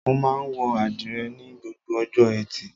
Mo máa ń wọ àdìrẹ́ ni gbogbo ọjọ́ ẹtì.